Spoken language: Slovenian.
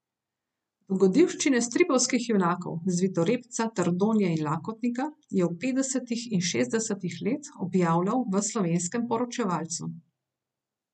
Dogodivščine stripovskih junakov Zvitorepca, Trdonje in Lakotnika je v petdesetih in šestdesetih letih objavljal v Slovenskem poročevalcu.